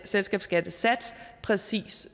selskabsskattesats præcis